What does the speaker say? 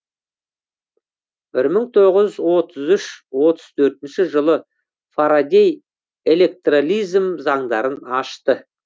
бір мың тоғыз жүз отыз үш отыз төртінші жылы фарадей электролизм заңдарын ашты